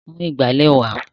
Mú ìgbálẹ̀ wá!